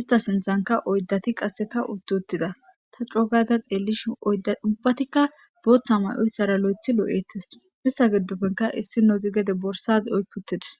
ista sinthankka oydati qase uti utida ta co gada xelishin ubatika botha may'oysara lothi lo'etesi istata gidopeka isnozi borsa oqi utidesi